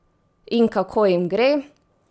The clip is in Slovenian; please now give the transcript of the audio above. In kako jim gre?